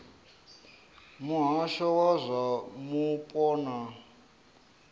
muhasho wa zwa mupo na